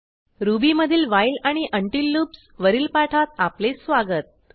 ruby मधील while आणि until loops वरील पाठात आपले स्वागत